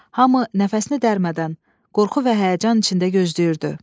Hamı nəfəsini dərmədən, qorxu və həyəcan içində gözləyirdi.